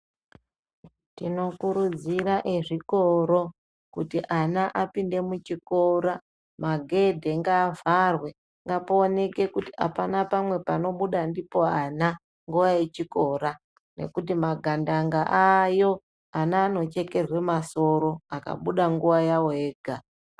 Tino kurudzira ezvikoro kuti ana apinde mu chikora magedhe nga vharwe pa onekwe kuti apana pamwe pano buda ndipo ana nguva ye chikora nekuti magandanga ayo ana ano chekerwe masoro aka buda nguva yavo vega.